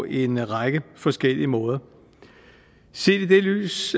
en række forskellige måder set i det lys